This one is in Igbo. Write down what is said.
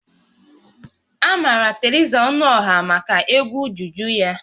A maara Theresa Ọnụọha maka egwu juju ya